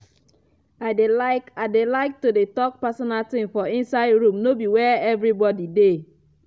i dey like i dey like to dey talk personal thing for inside room no be where everybody dey.